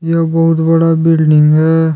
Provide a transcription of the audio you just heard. एक बहुत बड़ा बिल्डिंग है।